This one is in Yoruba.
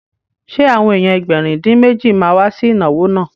Ṣé àwọn èèyàn Ẹgbẹ̀rin-dín-méjì ma wá sí ìnáwó náà?